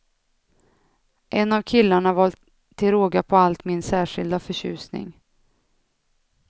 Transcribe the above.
En av killarna var till råga på allt min särskilda förtjusning.